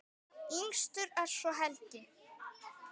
Yngstur er svo Helgi.